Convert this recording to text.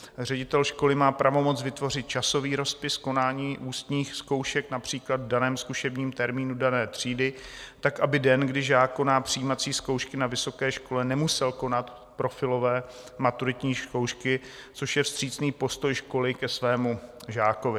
Ředitel školy má pravomoc vytvořit časový rozpis konání ústních zkoušek například v daném zkušebním termínu dané třídy tak, aby den, kdy žák koná přijímací zkoušky na vysoké škole, nemusel konat profilové maturitní zkoušky, což je vstřícný postoj školy k jejímu žákovi.